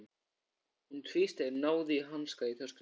Hún tvísteig, náði í hanska í töskunni.